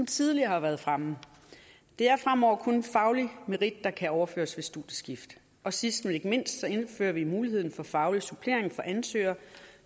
tidligere har været fremme det er fremover kun faglig merit der kan overføres ved studieskift sidst men ikke mindst indfører vi mulighed for faglig supplering for ansøgere